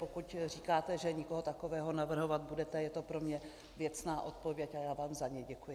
Pokud říkáte, že nikoho takového navrhovat nebudete, je to pro mě věcná odpověď a já vám za ni děkuji.